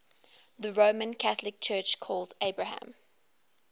the roman catholic church calls abraham